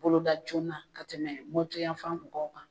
Bolo da joona ka tɛmɛ Mɔti yafan mɔgɔw kan.